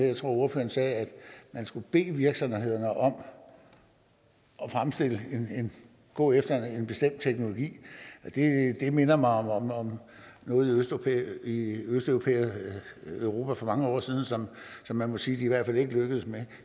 jeg tror ordføreren sagde man skulle bede virksomhederne om at gå efter en bestemt teknologi det minder mig om om noget i østeuropa for mange år siden som man må sige de i hvert fald ikke lykkedes med